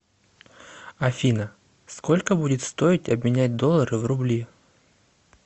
афина сколько будет стоить обменять доллары в рубли